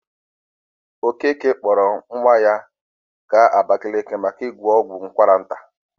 Okeke kpọrọ nwa ya gaa Abakaliki maka inweta ọgwụgwọ ụkwara nta.